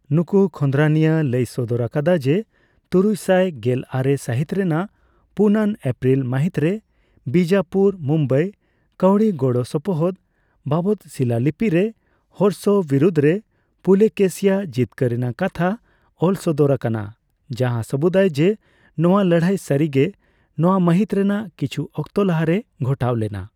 ᱱᱩᱠᱩ ᱠᱷᱚᱸᱫᱨᱚᱫᱤᱭᱟᱹ ᱞᱟᱹᱭ ᱥᱚᱫᱚᱨ ᱟᱠᱟᱫᱟ ᱡᱮ, ᱛᱩᱨᱩᱭᱥᱟᱭ ᱜᱮᱞᱟᱨᱮ ᱥᱟᱦᱤᱛ ᱨᱮᱱᱟᱜ ᱯᱩᱱ ᱟᱱ ᱮᱯᱨᱤᱞ ᱢᱟᱦᱤᱛᱨᱮ ᱵᱤᱡᱟᱯᱩᱨᱼ ᱢᱩᱢᱵᱟᱭ ᱠᱟᱹᱣᱰᱤ ᱜᱚᱲᱚ ᱥᱚᱯᱚᱦᱚᱫ ᱵᱟᱵᱚᱫᱽ ᱥᱤᱞᱟᱞᱤᱯᱤᱨᱮ ᱦᱚᱨᱥᱚ ᱵᱤᱨᱩᱫᱷᱨᱮ ᱯᱩᱞᱚᱠᱮᱥᱤᱟᱜ ᱡᱤᱛᱠᱟᱹᱨ ᱨᱮᱱᱟᱜ ᱠᱟᱛᱷᱟ ᱚᱞ ᱥᱚᱫᱚᱨ ᱟᱠᱟᱱᱟ, ᱡᱟᱸᱦᱟ ᱥᱟᱹᱵᱩᱫᱟᱭ ᱡᱮ ᱱᱚᱣᱟ ᱞᱟᱹᱲᱦᱟᱹᱭ ᱥᱟᱹᱨᱤ ᱜᱮ ᱱᱚᱣᱟ ᱢᱟᱦᱤᱛ ᱨᱮᱱᱟᱜ ᱠᱤᱪᱷᱩ ᱚᱠᱛᱚ ᱞᱟᱦᱟᱨᱮ ᱜᱷᱚᱴᱟᱣ ᱞᱮᱱᱟ ᱾